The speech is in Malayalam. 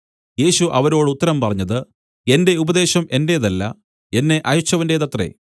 യേശു അവരോട് ഉത്തരം പറഞ്ഞത് എന്റെ ഉപദേശം എന്റേതല്ല എന്നെ അയച്ചവന്റേതത്രേ